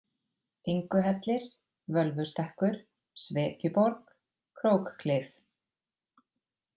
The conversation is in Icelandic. Inguhellir, Völvustekkur, Svekjuborg, Krókklif